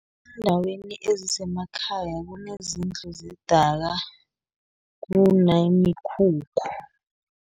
Eendaweni ezisemakhaya kunezindlu zedaka, kunemikhukhu